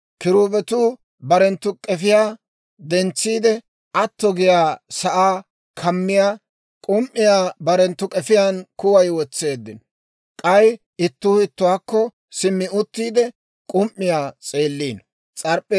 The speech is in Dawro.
Kiruubetuu barenttu k'efiyaa dentsiide, atto giyaa sa'aa kammiyaa k'um"iyaa barenttu k'efiyaan kuway wotseeddino; k'ay ittuu ittuwaakko simmi uttiide, k'um"iyaa s'eeliino.